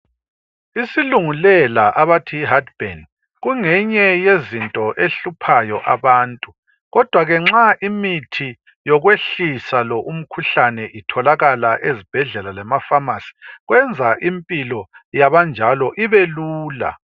Isilungulela abantu yi heart burn kungenye yezinto ehluphayo abantu kodwa ke nxa imithi yokwehlisa lo umkhuhlane itholakala ezibhedlela lemafamasi kwenza impilo yabanjalo ibe lula.